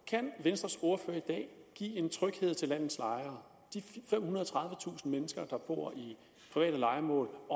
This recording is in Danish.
kan venstres ordfører i dag give den tryghed til landets lejere de femhundrede og tredivetusind mennesker der bor i private lejemål at